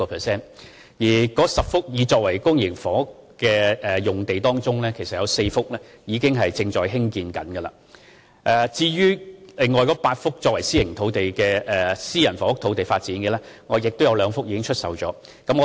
在該10幅擬作為發展公營房屋的用地中，有4幅其實已在興建中，而在8幅作為發展私人房屋的用地中，亦有2幅已售出。